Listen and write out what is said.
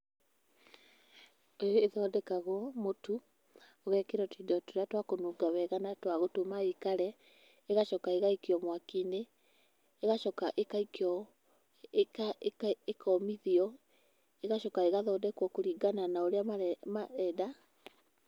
Ĩthondekagwo mũtũ ũgekĩrwo tũindo tũrĩa twa kũnunga wega na twa gũtũma ĩikare, ĩgacoka ĩgaikio mwaki-inĩ, ĩgacoka ĩgaikio, ĩkomithio, ĩgacoka ĩgathondekwo kũringana na ũrĩa marenda.